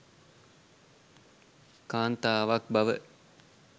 කාන්තාවක් බව.